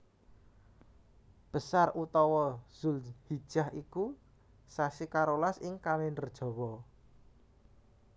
Besar utawa Dzulhijah iku sasi karolas ing Kalèndher Jawa